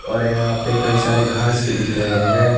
और यहां पे कई सारे घास भी दिख रहे हैं।